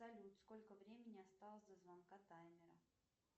салют сколько времени осталось до звонка таймера